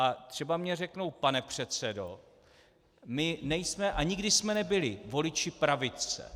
A třeba mi řeknou: Pane předsedo, my nejsme a nikdy jsme nebyli voliči pravice.